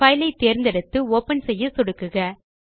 file ஐ தேர்ந்தெடுத்து open செய்ய சொடுக்குக